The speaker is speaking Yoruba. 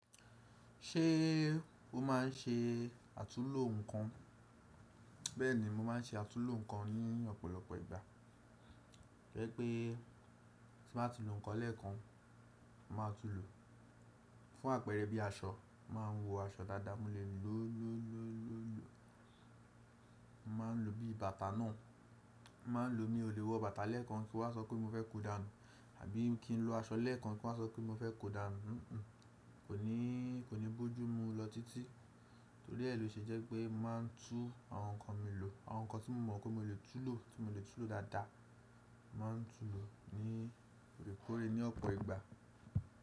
Ṣé o máà ń ṣe àtúúlò nǹkan? Bẹ́ẹ̀ni, mo máa ń ṣe àtúúlò nǹkan ní ọ̀pọ̀lọpọ̀ ìgbà. To je pe, tí baa ti lò nǹkan lẹ́ẹ̀kan, mo màá tún tulo, fún àpẹẹrẹ bí aṣọ, máa ń wọ aṣọ dàda múlẹ̀ lo o, mo máa ń lo bí bàtà náà. Mo máa ń lo, mí ò lè wọ bàtà lẹ́ẹ̀kan kí wa sọ pé mo fẹ́ ko danu, abi kí n lo aṣọ lẹ́ẹ̀kan kí wa sọ pé mo fẹ́ ko danu. Kò ní bójú mú lọ títí, torí ẹ loṣe jẹ́ pé mo máa ń tú àwọn nǹkan mi lò, àwọn nǹkan tí mo mọ̀ pé mo lè tún lò, tí mo lè tún lò dáadáa. Mo máa ń tún lò ní òrekore ní ọ̀pọ̀ ìgbà.